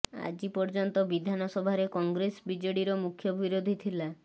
ଆଜି ପର୍ଯନ୍ତ ବିଧାନସଭାରେ କଂଗ୍ରେସ ବିଜେଡ଼ିର ମୁଖ୍ୟ ବିରୋଧୀ ଥିଲା